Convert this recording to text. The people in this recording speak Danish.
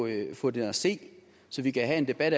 at få den at se så vi kan have en debat